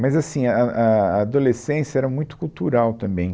Mas assim, a, a, a adolescência era muito cultural também.